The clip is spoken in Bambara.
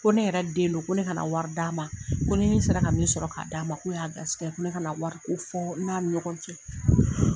Ko ne yɛrɛ den do ko ne ka wari d'a ma ko ni ne sera ka min sɔrɔ ka d'a ma k'o y'a garisɛgɛ ye ko ne kana wari ko fɔ n n'a ɲɔgɔn cɛ.